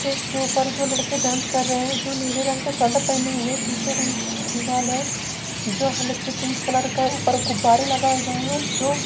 स्टेज के ऊपर दो लड़के डांस कर रहे हैजो नीले रंग के शर्ट पहने हुए है पीछे दीवाल है जो हल्के पिक कलर का ऊपर गुब्बारे लगाए गए है जो--